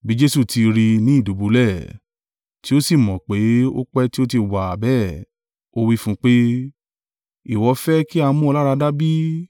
Bí Jesu ti rí i ní ìdùbúlẹ̀, tí ó sì mọ̀ pé ó pẹ́ tí ó ti wà bẹ́ẹ̀, ó wí fún un pé, “Ìwọ fẹ́ kí a mú ọ láradá bí?”